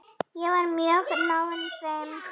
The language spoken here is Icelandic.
Ég var mjög náinn þeim.